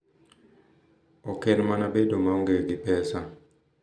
Oken mana bedo maonge gi pesa;